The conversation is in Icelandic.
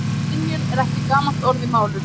Skynjun er ekki gamalt orð í málinu.